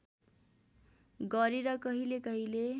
गरे र कहिलेकहिले